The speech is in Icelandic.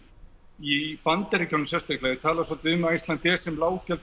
í Bandaríkjunum sérstaklega er talað svolítið um Icelandair sem